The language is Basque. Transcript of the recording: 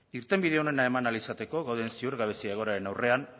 irtenbide onena eman ahal izateko dauden ziurgabezia egoeraren aurrean